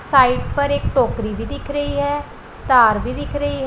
side पर एक टोकरी भी दिख रही है तार भी दिख रही--